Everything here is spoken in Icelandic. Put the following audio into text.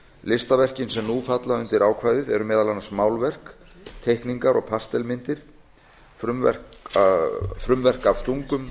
listaverkin sem nú falla undir ákvæðið eru meðal annars málverk teikningar og pastelmyndir frumverk af stungum